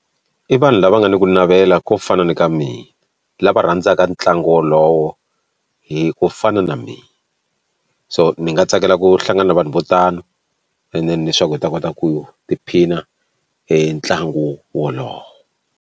I vanhu lava nga ni ku navela ko fana ni ka mina lava rhandzaka ntlangu wolowo hi ku fana na mina so ni nga tsakela ku hlangana na vanhu vo tano and then leswaku hi ta kota ku tiphina hi ntlangu wolowo.